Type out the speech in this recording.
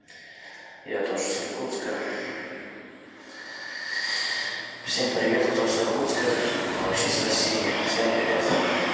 я тоже с иркутска всем привет кто с иркутска кто вообще с россии всем привет